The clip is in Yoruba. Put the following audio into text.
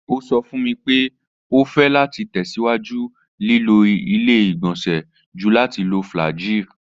O sọ fun mi pe o fẹ lati tẹsiwaju lilo ile-igbọnsẹ ju lati lo flagyl